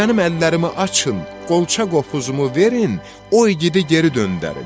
Mənim əllərimi açın, qolça qopuzumu verin, o igidi geri döndərin.